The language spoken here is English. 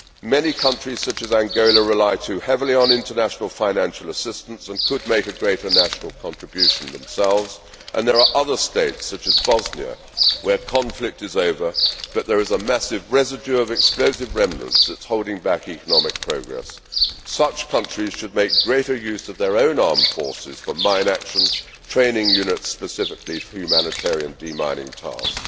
Many countries, such as Angola, rely too heavily on international financial assistance and could make a greater national contribution themselves, and there are other states, such as Bosnia, where conflict is over but where there is a massive residue of explosive remnants that is holding back economic progress. Such countries should make greater use of their own armed forces for mine action, training units specifically for humanitarian demining